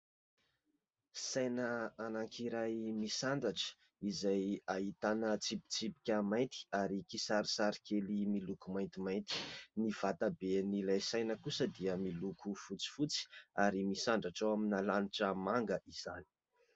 Saina anankiray misandratra izay ahitana tsipitsipika mainty ary kisarisary kely miloko maintimainty, ny vata-be an'ilay saina kosa dia miloko fotsifotsy ary misandratra eo amina lanitra manga izany.